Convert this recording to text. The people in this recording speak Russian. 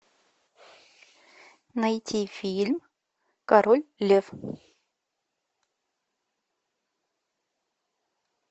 найти фильм король лев